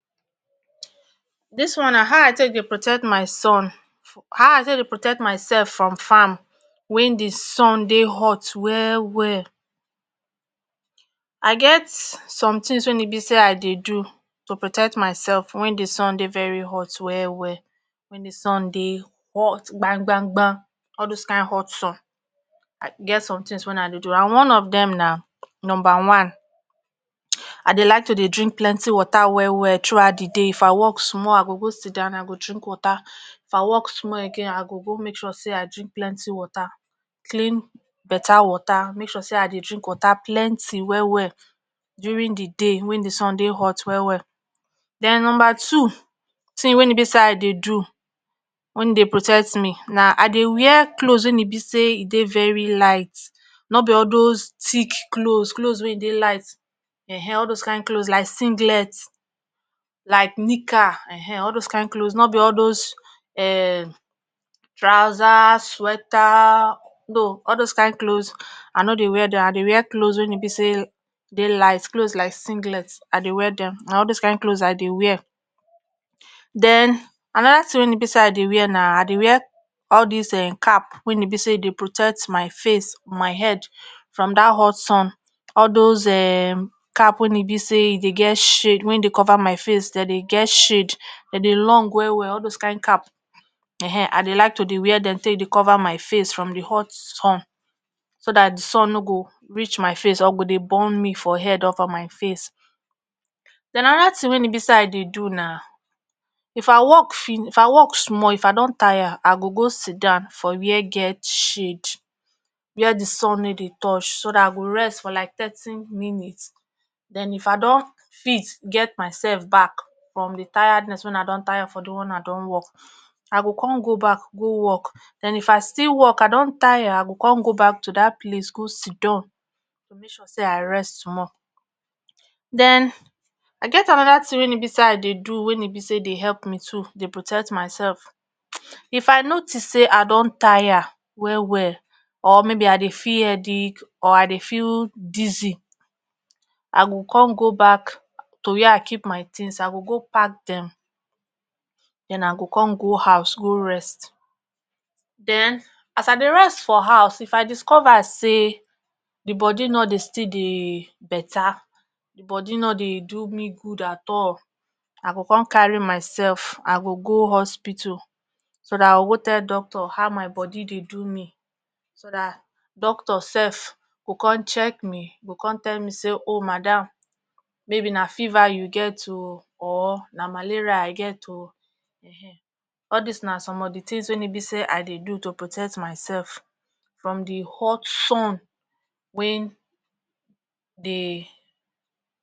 dis one na ah i take dey protect my son ah i take dey protect myself from farm win di sun dey hot well well i get some tins wey e be say i dey do to protect myself wen di sun dey very hot well well wen di sun dey hot gbanbanba all dose kain hot sun i get some tins wey i do and one of dem na numba one i dey like to dey drink plenti water well well tru out d day if i work small i go go sit down i go drink water, if i work smal again i go go make sure say i drink plenti water clin better water make sure say i dey drink water plenti well well during d day wen d sun dey hot well well. den numba two tin wey e be say i dey do wen dey protect me na i dey wear cloz wen e be say e dey veri light nor be all dose tick cloz cloz wey dey light[um]ehn all doz kind cloz like singlet like nika[um]ehn all doz kind cloz nor be all doz[um] trouser, sweater no all doz kind cloz i no dey wear dem i dey wear cloz wey e be say dey light cloz like singlet i dey wear dem na all doz kind cloz i dey wear. den anoda tin wey e be say i dey wear na i dey wear all dis um cap wey e be say e dey protet my face, my head from dat hot sun all doz um cap wey e be say e dey get shade wey dey cover my face den dey get shade den dey long well well all doz kind cap[um]ehn i dey like to dey wear dem take dey cove my face from d hot sunso dat the sun no go reach my face or go dey burn me from head or for my face. den anoda tin wey e be say i dey don if i work fini if i work small if i don tire i go go sidown for where get shade where d sun no dey touch so dat i go rest for like thirty minits den if i don fit get my sef back from d tiredness wen i don tire for d one wen i don work i go con go back go work den if i still work i don tire i go con go back to dat place go sidon tu make sure say i rest small. den i get anoda tin wey e be say i dey do wen e be say dey help me too dey protect my sef, if i notice say i don tire well well or maybe i dey feel headic or i dey feel dizzy i go con go back to wherre i keep my tins i go i go go pack dem den i go con go house go rest, den as i dey rest for haus if i discoversay d bodi no dey still dey better d bodi no dey do me gud at all i go con carry mysef i go go hospital so dat i go go tel doctor ho my bodi dey do me so dat doctor sef go con cheeck me go con tell me say o madam maybe na fever u get o or na malaria i get o. all dis na som of d tins wey i dey do to potect my sef from d hot sun wey dey